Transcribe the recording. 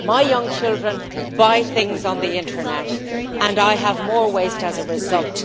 My young children buy things on the internet and I have more waste as a result.